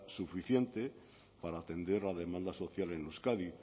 suficiente para atender la demanda social en euskadi